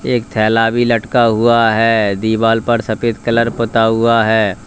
एक थैला भी लटका हुआ है दीवाल पर सफेद कलर पुता हुआ है।